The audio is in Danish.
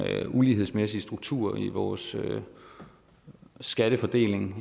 ulighedsmæssige strukturer i vores skattefordeling